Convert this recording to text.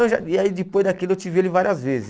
Não já e aí depois daquilo eu tive ele várias vezes.